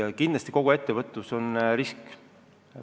Aga kindlasti kogu ettevõtlus on risk.